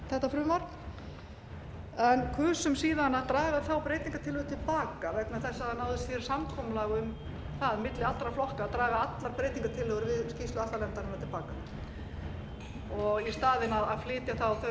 þetta frumvarp en kusum síðan að draga þá breytingartillögu til baka vegna þess að það náðist samkomulag um það milli allra flokka að draga allar breytingartillögu við skýrslu atlanefndarinnar til baka og í staðinn að flytja þau